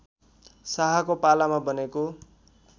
शाहको पालामा बनेको